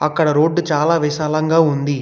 అక్కడ రోడ్డు చాలా విశాలంగా ఉంది.